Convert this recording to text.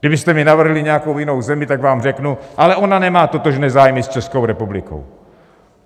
Kdybyste mi navrhli nějakou jinou zemi, tak vám řeknu: Ale ona nemá totožné zájmy s Českou republikou.